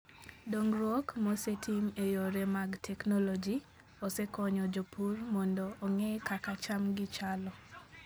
Dongruok mosetim e yore mag teknoloji osekonyo jopur mondo ong'e kaka chamgi chalo.